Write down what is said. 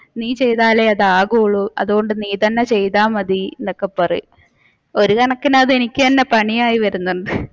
നീ ചെയ്താലേ അത് ആവൂള് അതുകൊണ്ട് നീ തന്നെ ചെയ്ത മതി എന്നൊക്കെ പറയും. ഒരുകണക്കിന് അത് എനിക്ക് തന്നെ പണിയായി വരുന്നുണ്ട്.